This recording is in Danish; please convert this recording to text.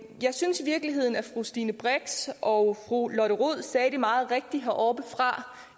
jeg synes i virkeligheden at fru stine brix og fru lotte rod sagde det meget rigtigt heroppefra